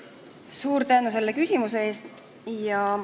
Suur tänu selle küsimuse eest!